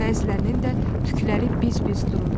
Bəzilərinin də tükləri biz-biz dururdu.